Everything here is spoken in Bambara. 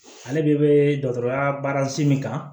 Ale de bɛ dɔgɔtɔrɔya baarasi min kan